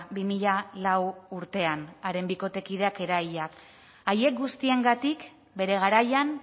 bi mila lau urtean haren bikotekideak eraila haiek guztiengatik bere garaian